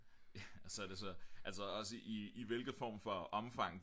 så er det så altså også i hvilket form for omfang